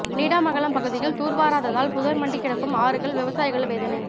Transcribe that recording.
நீடாமங்கலம் பகுதியில் தூர்வாராததால் புதர் மண்டி கிடக்கும் ஆறுகள் விவசாயிகள் வேதனை